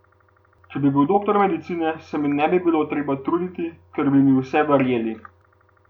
Če bi bil doktor medicine, se mi ne bi bilo treba truditi, ker bi mi vse verjeli.